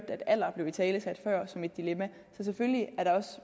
at alder blev italesat som et dilemma så selvfølgelig er der også